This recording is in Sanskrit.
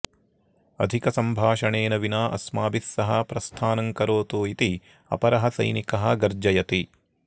अधिकसम्भाषणेन विना अस्माभिः सह प्रस्थानं करोतु इति अपरः सैनिकः गर्जयति